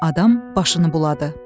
Adam başını buladı.